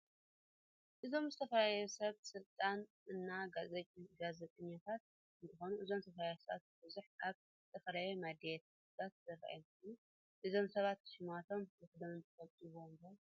እዞም ዝተፈላለዩ ሰብ ስልጣን እና ጋዘጠኛተት እንትኮኑ እዞም ዝተፈላለዩ ሰባት ብበዝሕ ኣብ ዝተፈላላዩ ሚድያታገት ዝርኣዩ እንትከኑ እዞም ሰባት ሽማቶም ሕድሕዶም ትፍልጥዎም ዶ?